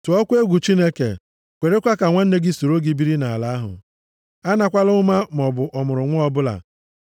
Tụọ egwu Chineke, kwerekwa ka nwanna gị soro gị biri nʼala ahụ. A nakwala ụma maọbụ ọmụrụnwa ọbụla. + 25:36 \+xt Ọpụ 22:25\+xt*